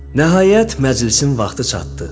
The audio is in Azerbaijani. Nəhayət, məclisin vaxtı çatdı.